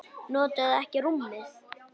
Notuðuð þið ekki rúmið?